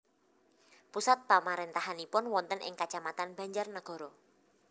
Pusat pamarentahanipun wonten ing Kacamatan Banjarnagara